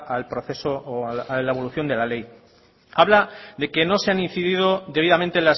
al proceso o a la evolución de la ley habla de que no se han incidido debidamente